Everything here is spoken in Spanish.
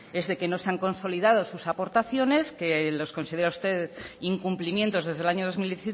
es de que no se han consolidado sus aportaciones que los considera usted incumplimientos desde el año dos mil